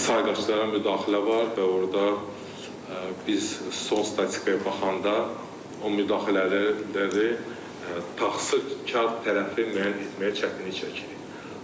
Sayğaclara müdaxilə var və orda biz son statikaya baxanda o müdaxilələrdə də tasıkar tərəfi müəyyən etməyə çətinlik çəkirik.